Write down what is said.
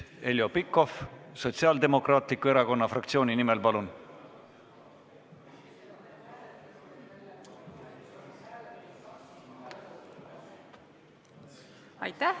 Heljo Pikhof Sotsiaaldemokraatliku Erakonna fraktsiooni nimel, palun!